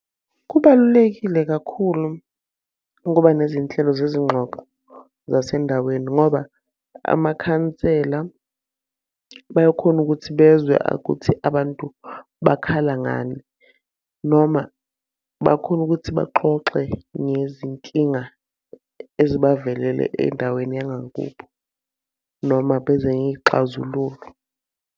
Kubalulekile kakhulu ukuba nezinhlelo zezingxoxo zasendaweni ngoba amakhansela bayakhona ukuthi bezwe ukuthi abantu bakhala ngani. Noma bakhona ukuthi baxoxe ngezinkinga ezibavelele endaweni yangakubo noma beze ngey'xazululo.